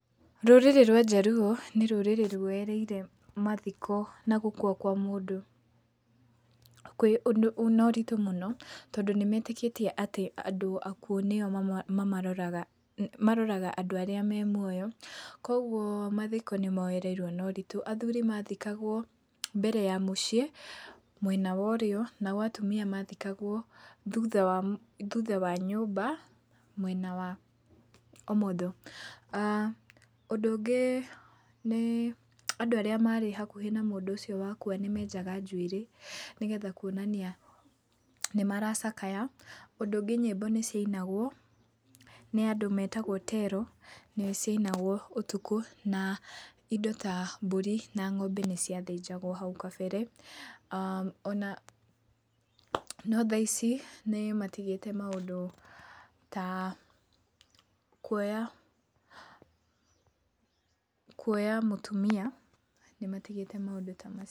Rũrĩrĩ rwa njaruo nĩ rũrĩrĩ rũoreire mathiko na gũkua kwa mũndũ kwĩ ũndũ na ũritũ mũno tondũ nĩmetĩkĩtie atĩ andũ akũu nĩo mama mamaroraga. Maroraga andũ arĩa me mũoyo, koguo mathiko nĩmoereirwo na ũritũ. Athũri mathikagwo mbere ya mũciĩ, mwena wa ũrio, nao atũmia mathikagwo thũtha wa mũ thũtha wa nyũmba, mwena wa ũmotho. aah ũndũ ũngĩ nĩ, andũ arĩa marĩ hakũhĩ na mũndũ ũcio wakũa, nĩmenjaga njũĩrĩ, nĩgetha kũonania nĩmaracakaya. Ũndũ ũngĩ nyĩmbo nĩcianagwo nĩ andũ metagwo tero na ciainagwo ũtukũ, na indo ta mbũri na ng'ombe nĩciathĩnjagwo haũ kabere. aah ona, no thaici nĩmatigĩte maũndũ ta kũoya, kũoya mũtũmia, nĩmatigĩte maũndũ ta macio.